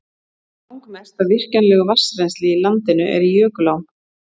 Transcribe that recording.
Langmest af virkjanlegu vatnsrennsli í landinu er í jökulám.